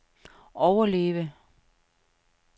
overleve